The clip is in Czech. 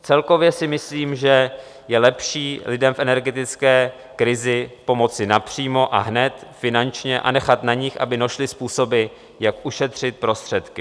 Celkově si myslím, že je lepší lidem v energetické krizi pomoci napřímo a hned finančně a nechat na nich, aby našli způsoby, jak ušetřit prostředky.